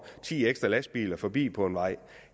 ti ekstra lastbiler forbi på en vej